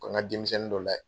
Ko n ka denmisɛnnin dɔ lajɛ.